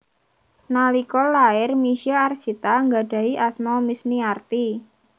Nalika lair Misye Arsita nggadhahi asma Misniarti